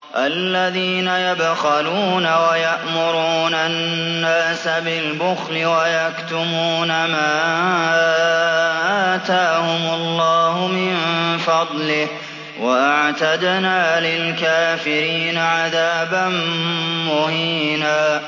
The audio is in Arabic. الَّذِينَ يَبْخَلُونَ وَيَأْمُرُونَ النَّاسَ بِالْبُخْلِ وَيَكْتُمُونَ مَا آتَاهُمُ اللَّهُ مِن فَضْلِهِ ۗ وَأَعْتَدْنَا لِلْكَافِرِينَ عَذَابًا مُّهِينًا